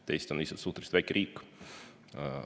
Eesti on suhteliselt väike riik.